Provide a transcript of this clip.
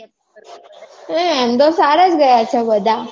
પણ એમ તો સાર જ રહ્યાં છે બધાં